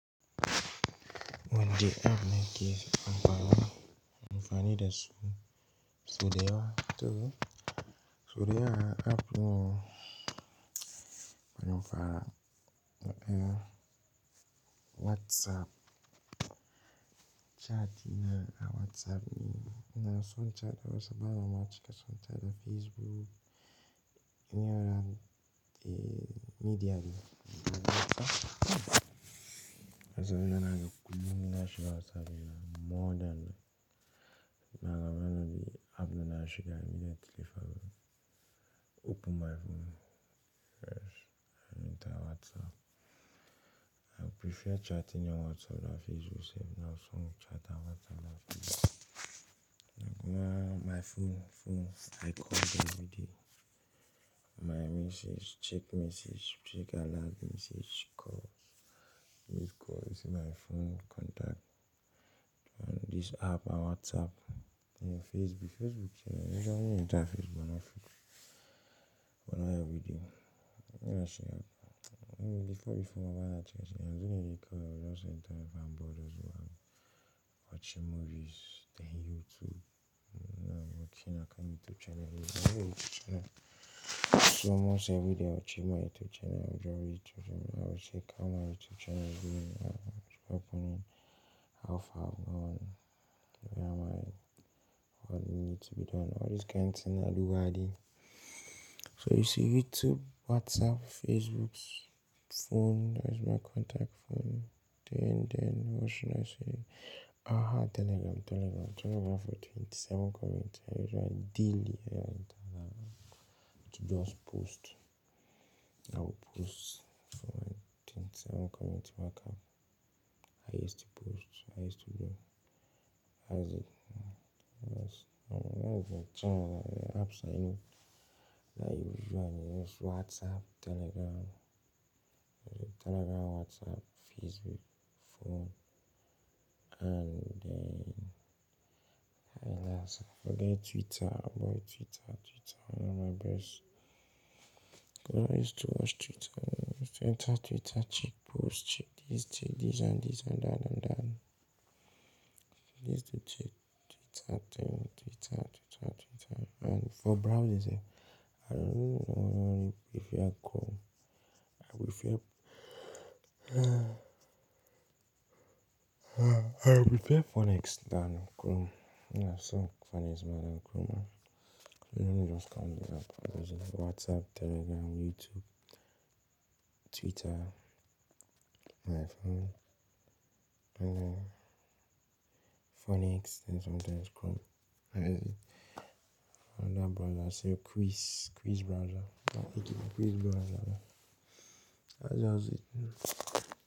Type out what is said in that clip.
One day app na nke amara m, m furu ya n'izu, izu di ocha ato. Izu di ya, app m bu, buru m fa, ya bu WhatsApp. Chatting na WhatsApp ne mun sho chat WhatsApp, abuo m achikoso chat na Facebook. Irin, eh, media WhatsApp. Azu m na-aga ukwu, m na-achikwa WhatsApp m na more than na agba anori app na-achikwa immediate telephone. Open my phone first and enter WhatsApp. I prefer chatting on WhatsApp than Facebook self. Inaso in chat na WhatsApp da Facebook. Na my phone, phones I call them every day. My message, check message, check a lot message, calls, missed calls. You see my phone contact and this app and WhatsApp. Then Facebook, Facebook self, ina naje taa Facebook m na Facebook. Mu na ya every day. M'ihi asi ya, m before before ma ha acho isi ya, azu m na-eje call. We just enter if I'm bored just go and watching movies, then YouTube. Mu na lokaci na-akan YouTube channel. Mu na m ochie YouTube channel. So almost every day I watch my YouTube channel. I'll join YouTube channel. I will check how my YouTube channel is doing and what's happening, how far I've gone, where am I, what needs to be done. All these kinds of thing I do every day. So you see YouTube, WhatsApp, Facebook, phone. That is my contact phone. Then, then what should I say? Aha, Telegram, Telegram. Telegram for 27 comments. I usually daily I enter Telegram to just post. I will post for my 27 comments marker. I used to post. I used to do. That is it. That's, that's the channel that the apps I use. That I usually use. WhatsApp, Telegram. Telegram, WhatsApp, Facebook, phone, and then I also forget Twitter. About Twitter, Twitter one of my best. I used to watch Twitter. I used to enter Twitter, check posts, check this, check this and this and that and that. I used to check Twitter thing, Twitter, Twitter, Twitter. And for browsers eh, I don't know. I prefer Chrome. I prefer, uh, uh, I prefer Phoenix than Chrome. Yeah, so Phoenix more than Chrome. So let me just count the app. Those are WhatsApp, Telegram, YouTube, Twitter, my phone, and then Phoenix, then sometimes Chrome. That is it. And that browser say Quiz, Quiz browser. Okay, Quiz browser. That's just it.